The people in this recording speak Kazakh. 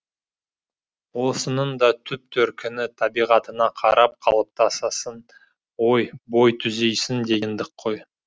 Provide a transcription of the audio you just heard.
осының да түп төркіні табиғатыңа қарап қалыптасасың ой бой түзейсің дегендік қой